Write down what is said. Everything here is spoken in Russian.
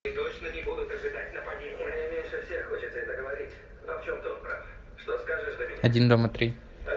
один дома три